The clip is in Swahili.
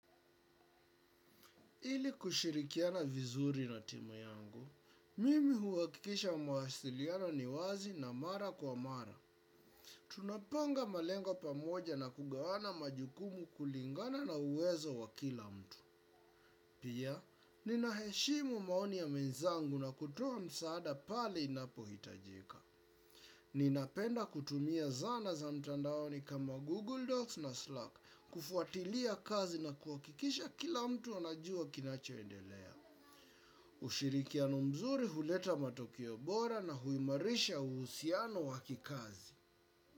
Ili kushirikiana vizuri na timu yangu, mimi huwakikisha mawasiliano ni wazi na mara kwa mara. Tunapanga malengo pamoja na kugawana majukumu kulingana na uwezo wa kila mtu. Pia, ninaheshimu maoni ya mwenzangu na kutoa msaada pale inapo hitajika. Ninapenda kutumia zana za mtandaoni kama Google Docs na Slack kufuatilia kazi na kuwakikisha kila mtu anajua kinachoendelea. Ushirikiano mzuri huleta matokeo bora na huimarisha uhusiano wa kikazi.